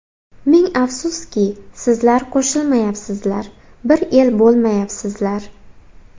Ming afsuski, sizlar qo‘shilmayapsizlar, bir el bo‘lmayapsizlar.